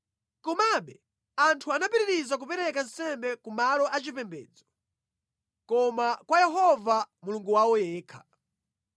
Komabe anthu anapitiriza kupereka nsembe ku malo achipembedzo, koma kwa Yehova, Mulungu wawo yekha.